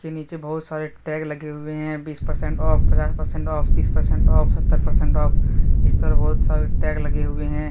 ये नीचे बहुत सारे टैग लगे हुए है बीस परसेंट ऑफ पचास परसेंट ऑफ तीस परसेंट ऑफ सत्तर परसेंट ऑफ इस तरह बहुत सारे टैग लगे हुए हैं।